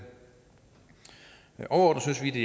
overordnet synes vi det